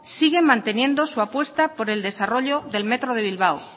sigue manteniendo su apuesta por el desarrollo de metro bilbao